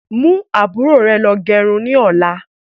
Mú àbúrò rẹ lọ gẹrun ni ọ̀la.